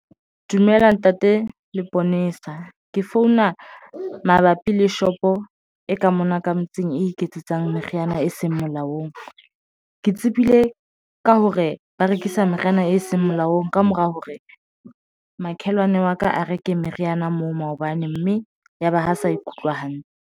Dumela ntate Leponesa ke founa mabapi le shop e ka mona ka motseng e iketsetsang meriana e seng molaong. Ke tsebile eng ka hore ba rekisa meriana e seng molaong ka mora hore makhelwane wa ka a reke meriana moo maobane mme yaba ha sa ikutlwe hantle.